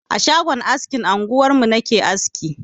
A shagon askin anguwarmu na ke aski.